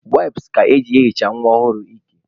Waịps ka eji ehicha nwa ọhụrụ ike.